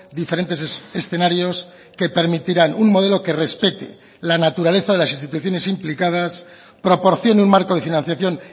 diferentes escenarios que permitirán un modelo que respete la naturaleza de las instituciones implicadas proporcione un marco de financiación